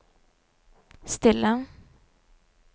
stille